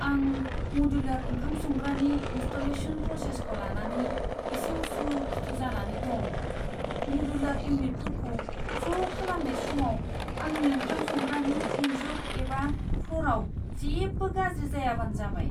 आं मडुलार ओंखाम संग्रानि इनस्टलेशन प्रसेसखौ लानानै एसे उसुखुथु जानानै दं। मडुलार इउनिटफोरखौ ज' खालामनाय समाव आंनि ओंखाम संग्रानि इनजुर एबा फ्ल'रआव जेबो गाज्रि जायाबानो जाबाय।